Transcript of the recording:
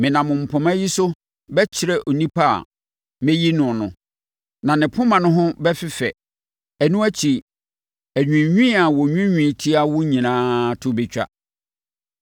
Menam mpoma yi so bɛkyerɛ onipa a mɛyi no no, na ne poma no ho bɛfefɛ! Ɛno akyi, anwiinwii a wɔnwiinwii tia wo no nyinaa to bɛtwa.”